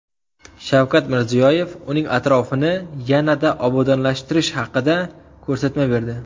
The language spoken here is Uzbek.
Shavkat Mirziyoyev uning atrofini yanada obodonlashtirish haqida ko‘rsatma berdi.